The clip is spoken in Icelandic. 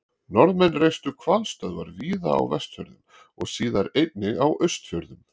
Norðmenn reistu hvalstöðvar víða á Vestfjörðum og síðar einnig á Austfjörðum.